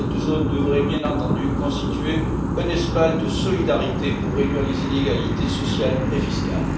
Cette zone devrait, bien entendu, constituer un espace de solidarité pour réduire les inégalités sociales et fiscales.